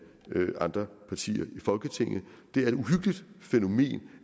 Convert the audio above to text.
andre partier i folketinget det er et uhyggeligt fænomen